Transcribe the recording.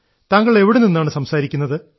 താങ്കൾ എവിടെ നിന്നാണ് സംസാരിക്കുന്നത്